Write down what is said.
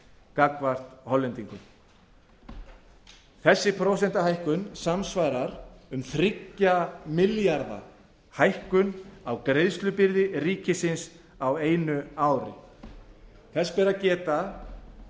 gagnvart hollendingum þessi prósentuhækkun samsvarar um þrjú ja milljarða hækkun á greiðslubyrði ríkisins á einu ári þess ber að